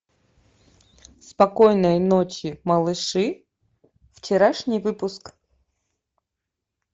спокойной ночи малыши вчерашний выпуск